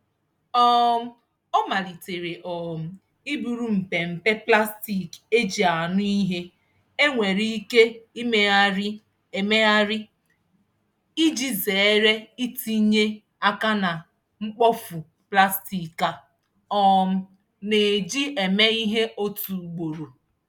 um Ọ malitere um iburu mpempe plastik e ji aṅụ ihe e nwere ike imegharị emegharị iji zeere itinye aka na mkpofu plastik a um na-eji eme ihe otu ugboro